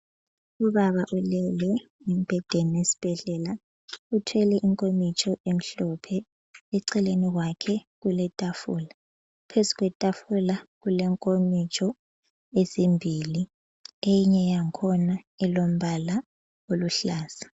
Ubaba ulele embhedeni esibhedlela uthwele inkomitsho emhlophe. Eceleni kwakhe kuletafula. Phezu kwetafula kulenkomitsho ezimbili eyinye yakhona ilombala oluhlaza.